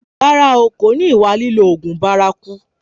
Rárá o, kò ní ìwà lílo oògùn bárakú